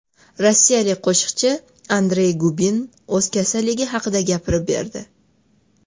Rossiyalik qo‘shiqchi Andrey Gubin o‘z kasalligi haqida gapirib berdi.